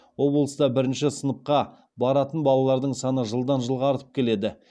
облыста бірінші сыныпқа баратын балалардың саны жылдан жылға артып келеді